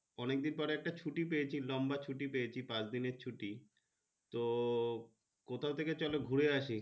অনেকদিন পরে একটা ছুটি পেয়েছি লম্বা ছুটি পেয়েছি পাঁচ দিনের ছুটি কোথা থেকে চলো ঘুরে আসি।